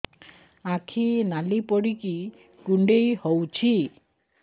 ଆଖି ନାଲି ପଡିକି କୁଣ୍ଡେଇ ହଉଛି